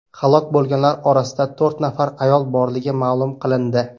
Halok bo‘lganlar orasida to‘rt nafar ayol borligi ma’lum qilindi.